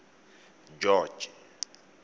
george